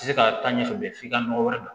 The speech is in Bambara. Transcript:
Se ka taa ɲɛfɛ bilen f'i ka nɔgɔ wɛrɛ don